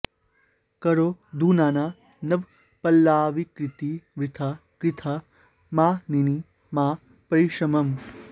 करौ धुनाना नवपल्लवाकृती वृथा कृथा मानिनि मा परिश्रमम्